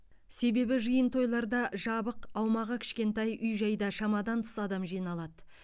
себебі жиын тойларда жабық аумағы кішкентай үй жайда шамадан тыс адам жиналады